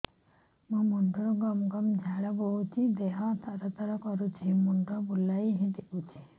ମୁଣ୍ଡରୁ ଗମ ଗମ ଝାଳ ବହୁଛି ଦିହ ତର ତର କରୁଛି ମୁଣ୍ଡ ବୁଲାଇ ଦେଉଛି